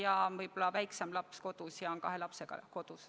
Võib-olla ema on väiksema lapsega kodus ja hoiab ka suuremat ise.